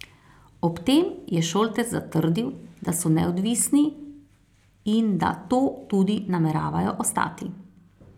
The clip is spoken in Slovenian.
Ob tem je Šoltes zatrdil, da so neodvisni in da to tudi nameravajo ostati.